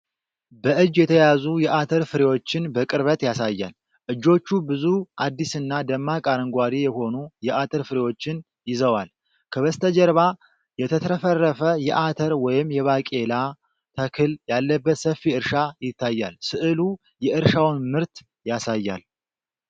በእጅ የተያዙ የአተር ፍሬዎችን በቅርበት ያሳያል። እጆቹ ብዙ አዲስና ደማቅ አረንጓዴ የሆኑ የአተር ፍሬዎችን ይዘዋል። ከበስተጀርባ የተትረፈረፈ የአተር ወይም የባቄላ ተክል ያለበት ሰፊ እርሻ ይታያል። ሥዕሉ የእርሻውን ምርት ያሳያል።